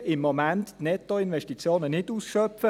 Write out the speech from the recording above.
Wir schöpfen im Moment die Nettoinvestitionen nicht aus.